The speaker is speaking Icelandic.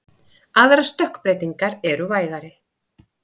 Aðrar stökkbreytingar eru vægari.